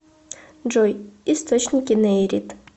джой источники нейрит